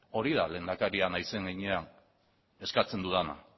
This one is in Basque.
hori da lehendakaria naizen heinean eskatzen dudana